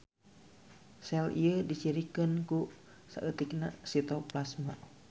Sel ieu dicirikeun ku saeutikna sitoplasma.